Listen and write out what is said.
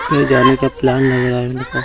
कोई जाने का प्लान नहीं --